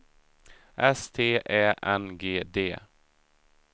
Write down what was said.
S T Ä N G D